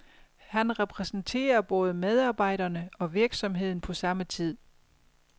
Han repræsenterer både medarbejderne og virksomheden på samme tid.